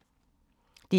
DR K